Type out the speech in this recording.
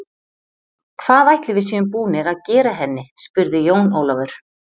Hvað ætli við séum búnir að gera henni spurði Jón Ólafur.